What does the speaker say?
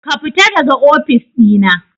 Kafita daga ofis ɗina.